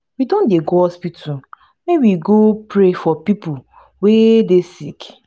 we don dey go hospital make we go pray for pipu wey dey sick.